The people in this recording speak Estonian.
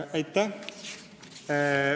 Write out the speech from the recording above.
Aitäh!